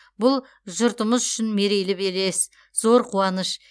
бұл жұртымыз үшін мерейлі белес зор қуаныш